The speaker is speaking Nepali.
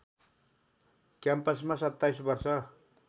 क्याम्पसमा २७ वर्ष